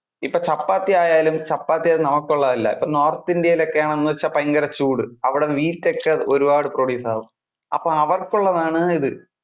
ഇപ്പൊ ചപ്പാത്തി ആയാലും, ചപ്പാത്തി അത് നമുക്ക് ഉള്ളതല്ല. ഇപ്പൊ നോർത്ത് ഇന്ത്യയിൽ ഒക്കെ ആണ് എന്ന് വെച്ചാൽ ഭയങ്കര ചൂട്. അവിടെ wheat ഒക്കെ ഒരുപാട് produce ആകും. അപ്പൊ അവർക്ക് ഉള്ളതാണ് ഇത്.